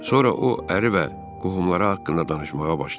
Sonra o əri və qohumları haqqında danışmağa başladı.